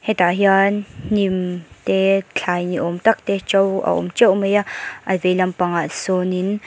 hetah hian hnim te thlai niawm tak te ṭo a awm ṭeuh mai a a vei lampangah sawnin--